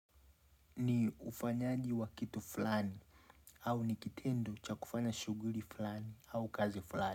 Ni ufanyaji wa kitu fulani au ni kitendo cha kufanya shughuli fulani au kazi fulani.